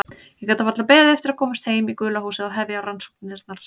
Ég gat varla beðið eftir að komast heim í gula húsið og hefja rannsóknirnar.